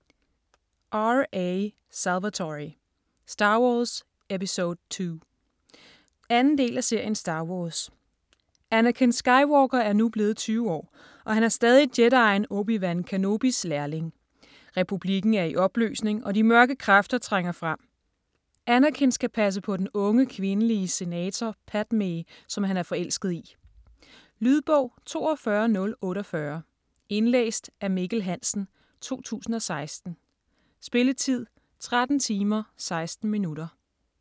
Salvatore, R. A.: Star Wars, episode II 2. del af serien Star wars. Anakin Skywalker er nu blevet 20 år, og han er stadig jedien Obi-Wan Kenobis lærling. Republikken er i opløsning, og de mørke kræfter trænger frem. Anakin skal passe på den unge kvindelige senator Padmé, som han er forelsket i. Lydbog 42048 Indlæst af Mikkel Hansen, 2016. Spilletid: 13 timer, 16 minutter.